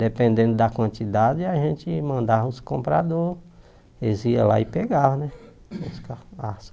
Dependendo da quantidade, a gente mandava os compradores, eles iam lá e pegavam, né? Os ca as